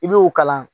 I b'o kalan